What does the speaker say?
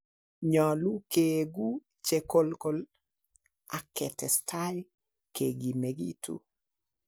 Nyolu keegun che kolgol ak ketestai kegimegitu.